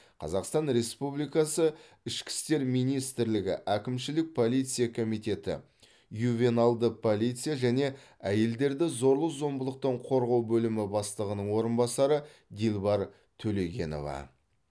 қазақстан республикасы ішкі істер министрлігі әкімшілік полиция комитеті ювеналды полиция және әйелдерді зорлық зомбылықтан қорғау бөлімі бастығының орынбасары дилбар төлегенова